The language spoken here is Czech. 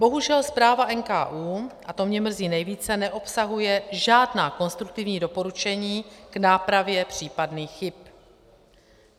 Bohužel zpráva NKÚ, a to mě mrzí nejvíce, neobsahuje žádná konstruktivní doporučení k nápravě případných chyb.